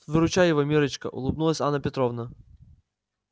выручай его миррочка улыбнулась анна петровна